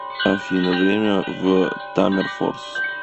афина время в таммерфорс